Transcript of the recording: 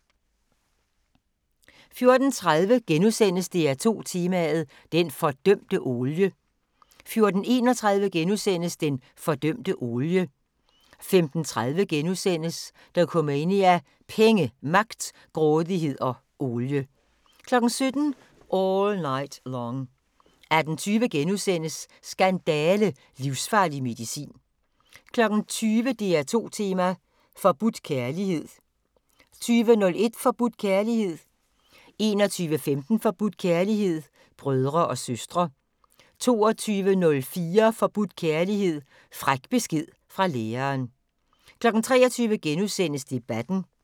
14:30: DR2 Tema: Den fordømte olie * 14:31: Den fordømte olie * 15:30: Dokumania: Penge, magt, grådighed og olie * 17:00: All Night Long 18:20: Skandale – livsfarlig medicin * 20:00: DR2 tema: Forbudt kærlighed 20:01: Forbudt kærlighed 21:15: Forbudt kærlighed: Brødre og søstre 22:04: Forbudt kærlighed: Fræk besked fra læreren 23:00: Debatten *